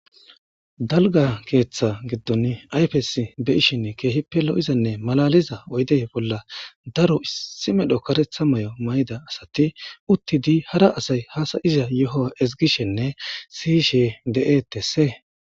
dalga keeththa giddon ayfes be'ishen keehippe lo'izanne malaliza oydey bolla daro isi medho karetha mayo mayida asati uttidi hara asay haasa'iza yohowa ezgishenne siyishe de'etesse